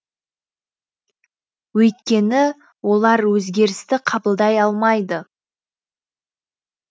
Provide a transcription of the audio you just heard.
өйткені олар өзгерісті қабылдай алмайды